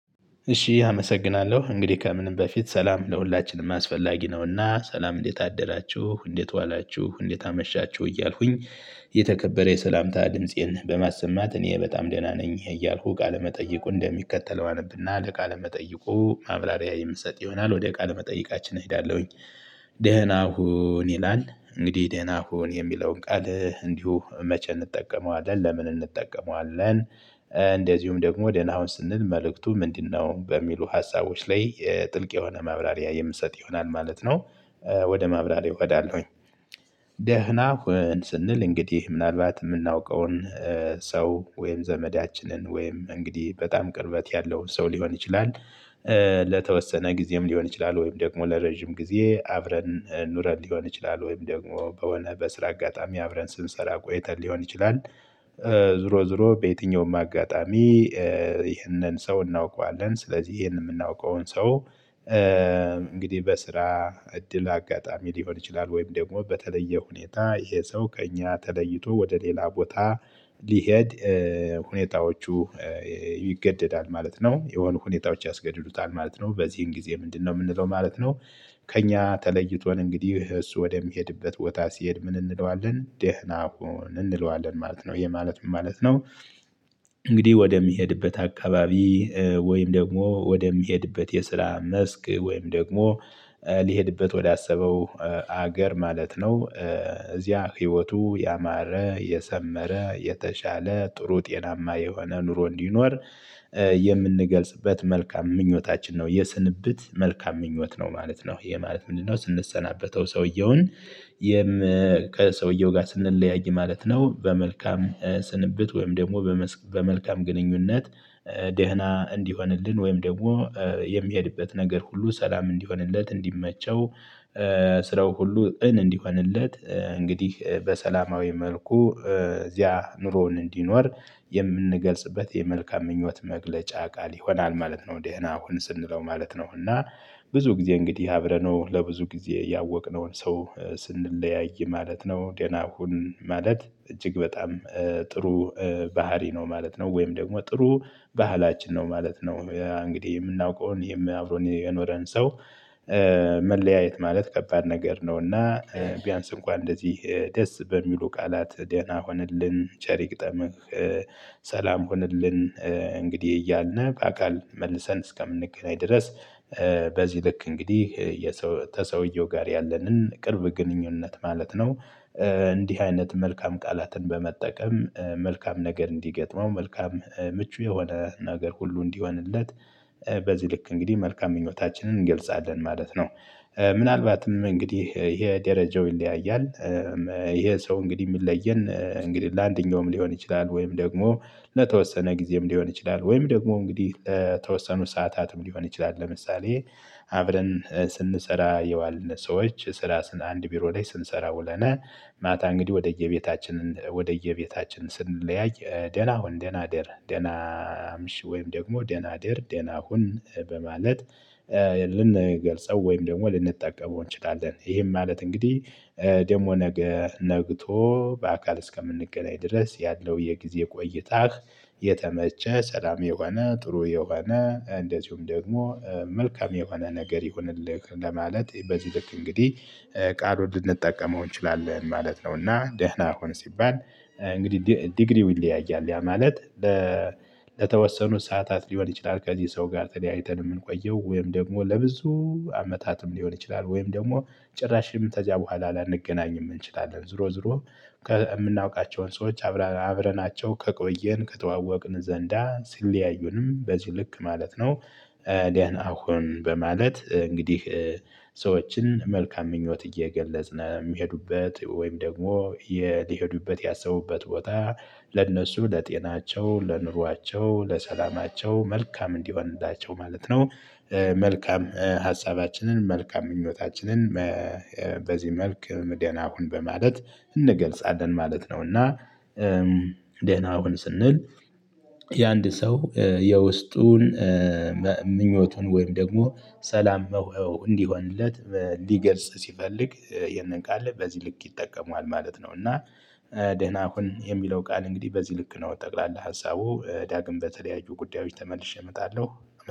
እሺ አመሰግናለሁ እንግዲህ ከምንም በፊት ሰላም ለሁላችንም አስፈላጊ ነውና ሰላም እንዴት አደራችሁ እንዴት ዋላችሁ እንዴት አመሻችሁ እያልኩኝ። የተከበረ የሰላምታ ድምፄን በማሰማት እኔ በጣም ደህና ነኝ እያልኩ ቃለመጠይቁ እንደሚከተለው አነብና ለቃለመጠይቁ ማብራሪያ የምሰጥ ይሆናል ወደ ቃለመጠይቃችን እሄዳለሁኝ። ደህና ሁን ይላል እንግዲህ ደህና ሁን የሚለውን ቃል እንዲሁ መቼ እንጠቀመዋለን ለምን እንጠቀመዋለን? እንደዚሁም ደግሞ ደህና ሁን ስንል መልእክቱ ምንድነው በሚሉ ሀሳቦች ላይ ጥልቅ የሆነ ማብራሪያ የምሰጥ ይሆናል ማለት ነው። ወደ ማብራሪያ ገባለሁኝ። ደህና ሁን ስንል እንግዲህ ምናልባት የምናውቀውን ሰው ወይም ዘመዳችንን ወይም እንግዲህ በጣም ቅርበት ያለውን ሰው ሊሆን ይችላል። ለተወሰነ ጊዜም ሊሆን ይችላል ወይም ደግሞ ለረጅም ጊዜ አብረን ኑረን ሊሆን ይችላል ወይም ደግሞ በሆነ በስራ አጋጣሚ አብረን ስንሰራ ቆይተን ሊሆን ይችላል። ዞሮ ዞሮ በየትኛውም አጋጣሚ ይህንን ሰው እናውቀዋለን ስለዚህ ይህንን የምናውቀውን ሰው። እንግዲህ በስራ እድል አጋጣሚ ሊሆን ይችላል ወይም ደግሞ በተለየ ሁኔታ ይሄሰው ከእኛ ተለይቶ ወደ ሌላ ቦታ ሊሄድ ሁኔታዎቹ ይገደዳል ማለት ነው የሆነ ሁኔታዎች ያስገድሉታል ማለት ነው በዚህን ጊዜ ምንድነው የምንለው ማለት ነው? ከእኛ ተለይቶን እንግዲህ እሱ ወደሚሄድበት ቦታ ሲሄድ ምን እንለዋለን ደህና ሁን እንለዋለን ማለት ነው ይሄ ማለት ምን ማለት ነው? እንግዲህ ወደሚሄድበት አካባቢ ወይም ደግሞ ወደሚሄድበት የስራ መስክ ወይም ደግሞ ሊሄድበት ወዳሰበው ሀገር ማለት ነው። እዚያ ህይወቱ ያማረ የሰመረ የተሻለ ጥሩ ጤናማ የሆነ ኑሮ እንዲኖር የምንገልጽበት መልካም ምኞታችን ነው። የስንብት መልካም ምኞት ነው ማለት ነው። ይሄ ማለት ምንድነው ስንሰናበተው ሰውየውን? ከሰውየው ጋር ስንለያይ ማለት ነው በመልካም ስንብት ወይም ደግሞ በመልካም ግንኙነት ደህና እንዲሆንልን ወይም ደግሞ የሚሄድበት ነገር ሁሉ ሰላም እንዲሆንለት እንዲመቸው። ስራው ሁሉ እንዲሆንለት እንግዲህ በሰላማዊ መልኩ እዚያ ኑሮውን እንዲኖር የምንገልጽበት የመልካም ምኞት መግለጫ ቃል ይሆናል ማለት ነው። ደህና አሁን ስንለው ማለት ነው። እና ብዙ ጊዜ እንግዲህ አብረነው ለብዙ ጊዜ ያወቅነውን ሰው ስንለያይ ማለት ነው ደናሁን ማለት እጅግ በጣም ጥሩ ባህሪ ነው ማለት ነው። ወይም ደግሞ ጥሩ ባህላችን ነው ማለት ነው። እንግዲህ የምናውቀውን አብሮን የኖረን ሰው። መለያየት ማለት ከባድ ነገር ነው። እና ቢያንስ እንኳን እንደዚህ ደስ በሚሉ ቃላት ደህና ሆንልን ቸር ይ ግጠምህ። ሰላም ሁነልን። እንግዲህ እያልን በአካል መልሰን እስከምንገናኝ ድረስ በዚህ ልክ እንግዲህ የሰው ተሰውየው ጋር ያለንን ቅርብ ግንኙነት ማለት ነው። እንዲህ አይነት መልካም ቃላትን በመጠቀም መልካም ነገር እንዲገጥመው መልካም ምቹ የሆነ ነገር ሁሉ እንዲሆንለት። በዚህ ልክ እንግዲህ መልካም ምኞታችንን እንገልጻለን ማለት ነው። ምናልባትም እንግዲህ ይሄ ደረጃው ይለያያል። ይሄ ሰው እንግዲህ የሚለየን እንግዲህ ለአንደኛውም ሊሆን ይችላል ወይም ደግሞ ለተወሰነ ጊዜም ሊሆን ይችላል ወይም ደግሞ እንግዲህ ተወሰኑ ሰዓታትም ሊሆን ይችላል ለምሳሌ አብረን ስንሰራ የዋልነ ሰዎች ስራ አንድ ቢሮ ላይ ስንሰራ ውለነ። ማታ እንግዲህ ወደየቤታችን ወደየቤታችን ስንለያይ ደህና ሁን ደህና ደር ደህና ምሽ ወይም ደግሞ ደህና ደር ደህና ሁን በማለት። ልንገልጸው ወይም ደግሞ ልንጠቀመው እንችላለን ይሄም ማለት እንግዲህ ደግሞ ነገ ነግቶ በአካል እስከምንገናኝ ድረስ ያለው የጊዜ ቆይታ። የተመቸ ሰላም የሆነ ጥሩ የሆነ እንደዚሁም ደግሞ መልካም የሆነ ነገር ይሁንልህ ለማለት በዚህ ልክ እንግዲህ ቃል ውድ ልንጠቀመው እንችላለን። ማለት ነውና ደህና ሆኖ ሲባል እንግዲህ ዲግሪው ይለያያል ያ ማለት። ለተወሰኑ ሰዓታት ሊሆን ይችላል ከዚህ ሰው ጋር ተለያይተን የምንቆየው ወይም ደግሞ ለብዙ አመታትም ሊሆን ይችላል ወይም ደግሞ ጭራሽ ተዚያም በኋላ ላንገናኝ እንችላለን ዞሮ ዞሮ። የምናውቃቸውን ሰዎች አብረናቸው ከቆየን ከተዋወቅን ዘንዳ ሲለያዩንም በዚህ ልክ ማለት ነው። አሁን በማለት እንግዲህ ሰዎችን መልካም ምኞት እየገለጽን የሚሄዱበት ወይም ደግሞ ሊሄዱበት ያሰቡበት ቦታ ለእነሱ ለጤናቸው ለኑሯቸው ለሰላማቸው መልካም እንዲሆንላቸው ማለት ነው። መልካም ሀሳባችንን መልካም ምኞታችንን በዚህ መልክ ምድር አሁን በማለት እንገልጻለን ማለት ነውና። ደህና ሁን ስንል የአንድ ሰው የውስጡን ምኞቱን ወይም ደግሞ ሰላም መሆን እንዲሆንለት ሊገልጽ ሲፈልግ ይሄንን ቃል በዚህ ልክ ይጠቀማል ማለት ነው። እና ደህና ሁን የሚለው ቃል እንግዲህ በዚህ ልክ ነው ጠቅላላ ሀሳቡ ዳግም በተለያዩ ጉዳዮች ተመልሼ እመጣለሁ።